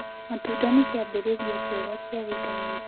Matũnda nĩ kĩambĩrĩrĩa kĩega kĩa vĩtamĩnĩ